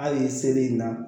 Hali seli in na